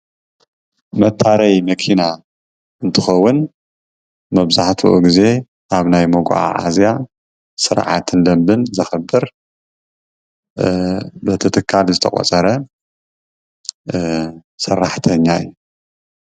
መታረዪ መኪና እንትኸዉን መብዛሕቲኡ ግዜ ኣብ ናይ መጓዓዓዝያ ስርዓትን ደንብን ዘኽብር በቲ ትካል ዝተቖፀረን ሰራሕተኛ እዩ፡፡